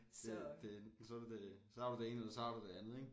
Det det så du det så har du det ene eller så har du det andet ik